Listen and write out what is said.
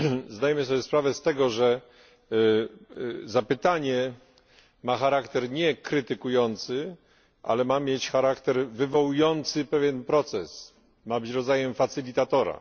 Zdajemy sobie sprawę z tego, że zapytanie ma charakter nie krytykujący, ale ma mieć charakter wywołujący pewien proces, ma być rodzajem facylitatora.